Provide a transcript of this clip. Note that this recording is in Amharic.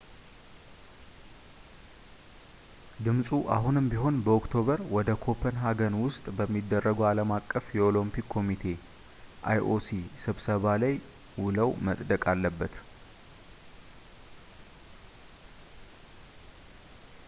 ድምፁ አሁንም ቢሆን በኦክቶበር ወር ኮፐንሃገን ውስጥ በሚደረገው ዓለም አቀፍ የኦለምፒክ ኮሚቴ ioc ስብሰባ ላይ ሙሉው መፅደቅ አለበት